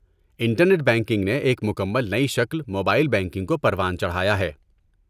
inter net banking نے ایک مکمل نئی شکل موبائل بینکنگ کو پروان چڑھایا ہے